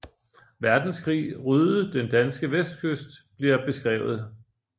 Verdenskrig ryddede den danske vestkyst bliver beskrevet